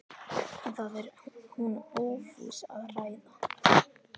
En það er hún ófús að ræða.